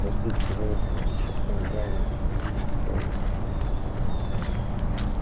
простите пожалуйста прошептал гарри я не хотел вас обидеть